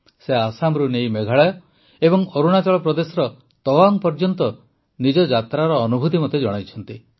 ସେ ଆସାମରୁ ନେଇ ମେଘାଳୟ ଓ ଅରୁଣାଚଳ ପ୍ରଦେଶର ତୱାଙ୍ଗ୍ ପର୍ଯ୍ୟନ୍ତ ନିଜ ଯାତ୍ରାର ଅନୁଭୂତି ମୋତେ ଜଣାଇଛନ୍ତି